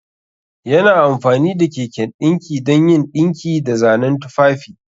Yana amfani da keken dinki don yin dinki da zanen tufafi.